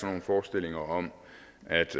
nogle forestillinger om